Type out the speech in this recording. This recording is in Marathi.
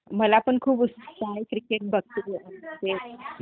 मलापण खूप उत्सूकता आहे क्रीकेटबाबतीत वैगरे..